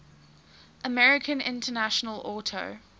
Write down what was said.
american international auto